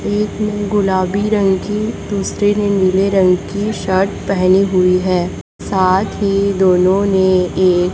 एक गुलाबी रंग की दूसरे ने नीले रंग की शर्ट पहनी हुई है साथ ही दोनों ने एक--